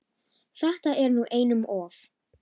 Þetta er nú einum of!